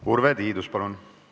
Urve Tiidus, palun!